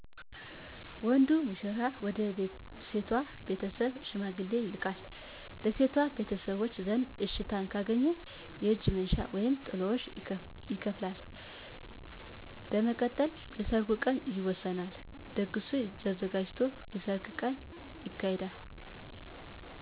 ወንዱ ሙሽራ ወደ ሴቷ ቤተሰብ ሽማግሌ ይልካል። በሴቷ ቤተሰቦች ዘንድ እሽታን ካገኘ የእጅ መንሻ (ጥሎሽ) ይከፍላል። በመቀጠል የሰርጉ ቀን ይወሰናል። ድግሱ ተዘጋጅቶ የሰርግ ቀን ይካሄዳል።